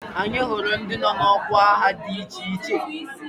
Anyị hụrụ ndị nọ n'ọkwa agha dị iche iche